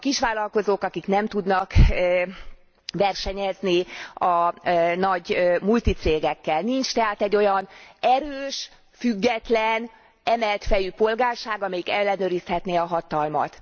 A kisvállalkozók nem tudnak versenyezni a nagy multicégekkel. Nincs tehát egy olyan erős, független, emelt fejű polgárság, amelyik ellenőrizhetné a hatalmat.